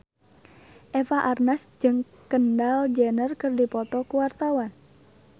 Eva Arnaz jeung Kendall Jenner keur dipoto ku wartawan